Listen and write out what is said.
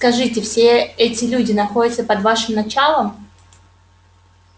скажите все эти люди находятся под вашим началом